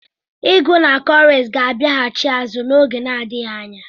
Ịgụ na cowries ga-abịaghachi azụ n'oge na adịghị anya.